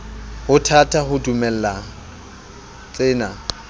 ho thata ho dumela tsena